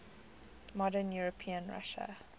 modern european russia